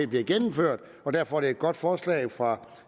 bliver gennemført og derfor er det et godt forslag fra